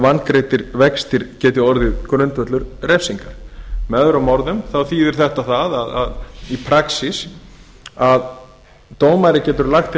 vangreiddir vextir geti orðið grundvöllur refsinga með öðrum orðum þýðir þetta í raun og veru